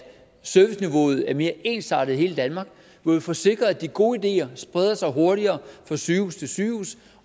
serviceniveauet er mere ensartet i hele danmark hvor vi får sikret at de gode ideer spreder sig hurtigere fra sygehus til sygehus